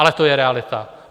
Ale to je realita.